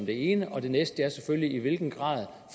det ene og det næste er selvfølgelig i hvilken grad